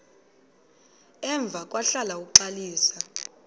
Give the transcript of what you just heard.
emva kwahlala uxalisa